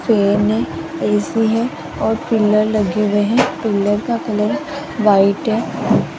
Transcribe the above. Train मे AC है और पिलर लगे हुए हैं और पिलर का कलर व्हाइट है।